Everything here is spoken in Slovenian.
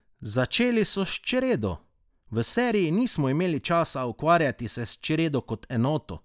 Začeli so s čredo: "V seriji nismo imeli časa ukvarjati se s čredo kot enoto.